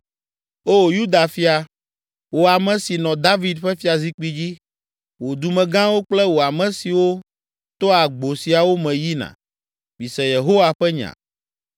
‘O Yuda fia, wò ame si nɔ David ƒe fiazikpui dzi, wò dumegãwo kple wò ame siwo toa agbo siawo me yina, mise Yehowa ƒe nya.